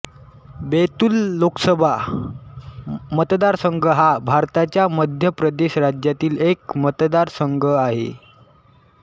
बैतूल लोकसभा मतदारसंघ हा भारताच्या मध्य प्रदेश राज्यातील एक मतदारसंघ आहे